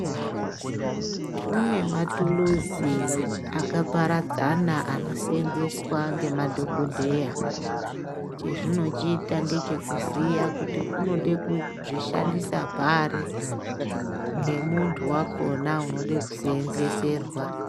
Kune mathuluzi akaparadzana anoseenzeswa ngemadhokodheya. Chezvinochiita ngechekuziya kuti unode kuzvishandisa pari ,ngemuntu wakhona unode kuseenzeeserwa.